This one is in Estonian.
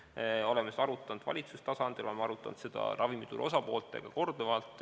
Me oleme seda arutanud valitsustasandil ja oleme arutanud korduvalt ka ravimituru osapooltega.